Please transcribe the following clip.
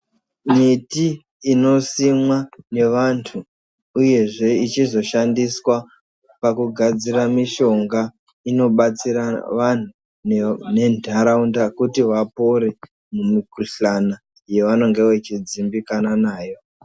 Miti inosimwa nevantu uyezve ichizoshandiswa pakugadzira mishongga inobatsira vanhu ne nentaraunda kuti vapore mumikhuhlana yavanenge vachidzimbikana nayo.